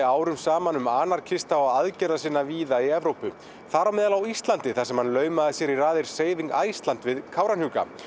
árum saman um anarkista og víða í Evrópu þar á meðal á Íslandi þar sem hann laumaði sér í raðir Iceland við Kárahnjúka